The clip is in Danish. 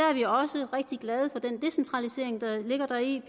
er vi også rigtig glade for den decentralisering der ligger deri